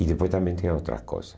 E depois também tem outras coisa.